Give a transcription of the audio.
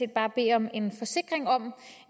bare bede om en forsikring om